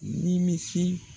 Ni misi.